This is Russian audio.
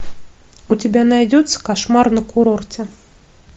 у тебя найдется кошмар на курорте